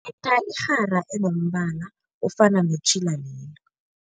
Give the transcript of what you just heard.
Khetha irhara enombala ofana netjhila lelo.